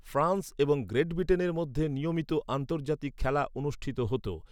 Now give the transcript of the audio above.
France এবং Great ব্রিটেনের মধ্যে নিয়মিত আন্তর্জাতিক খেলা অনুষ্ঠিত হত।